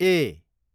ए